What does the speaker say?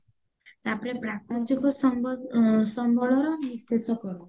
ତାପରେ ସମ୍ବଳର ବିଶେଷକରଣ